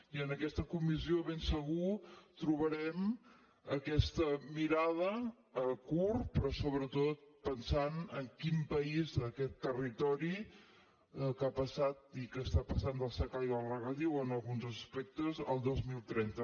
i en aquesta comissió ben segur que trobarem aquesta mirada a curt però sobretot pensant en quin país aquest territori que ha passat i que està passant del secà i el regadiu en alguns aspectes al dos mil trenta